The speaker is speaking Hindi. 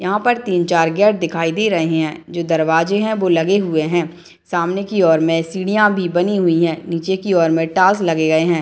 यहाँ पर तीन चार गेट दिखाई दे रहें हैं जो दरवाजे हैं वो लगे हुए हैं सामने की और में सीढ़ियाँ भी बनी हुई हैं निचे की और में टाइल्स लगे गए हैं।